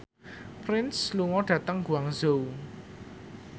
Prince lunga dhateng Guangzhou